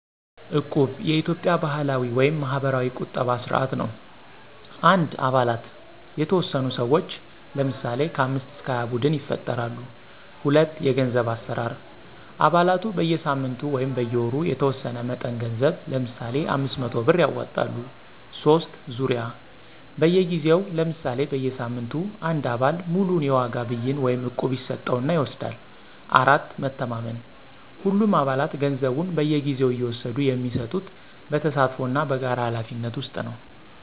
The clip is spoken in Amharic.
"እቁብ" የኢትዮጵያ ባህላዊ (ማህበራዊ ቁጠባ ስርዓት) ነው። 1. አባላት የተወሰኑ ሰዎች (ለምሳሌ 5-20) ቡድን ይፈጥራሉ። 2. የገንዘብ አሠራር አባላቱ በየሳምንቱ/ወሩ የተወሰነ መጠን ገንዘብ (ለምሳሌ 500 ብር) ያዋጣሉ። 3. ዙርያ በየጊዜው (ለምሳሌ በየሳምንቱ) አንድ አባል ሙሉውን የዋጋ ብይን (እቁብ) ይስጠው እና ይወስዳል። 4. መተማመን ሁሉም አባላት ገንዘቡን በየጊዜው እየወሰዱ የሚሰጡት በተሳትፎ እና በጋራ ኃላፊነት ውስጥ ነው።